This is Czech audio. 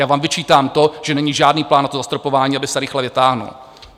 Já vám vyčítám to, že není žádný plán na to zastropování, aby se rychle vytáhl.